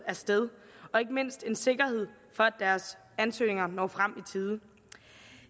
af sted og ikke mindst giver en sikkerhed for at deres ansøgninger når frem i tiden